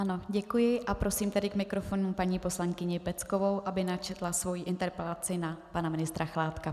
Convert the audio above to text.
Ano, děkuji a prosím tedy k mikrofonu paní poslankyni Peckovou, aby načetla svoji interpelaci na pana ministra Chládka.